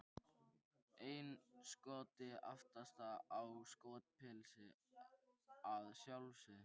Einn Skoti aftast, í Skotapilsi að sjálfsögðu!